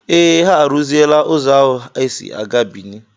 Ee, ha arụziela ụzọ ahụ e si a gaa Bìní.